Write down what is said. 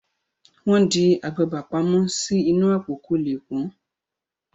wón di àgbagbà pàmò sí inú Àpò kò lẹ pọn.